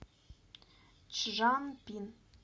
чжанпин